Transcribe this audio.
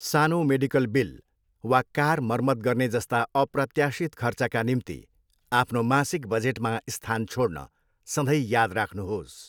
सानो medical bill वा car मर्मत गर्ने जस्ता अप्रत्याशित खर्चका निम्ति आफ्नो मासिक बजेटमा स्थान छोड्न सधैँ याद राख्नुहोस्।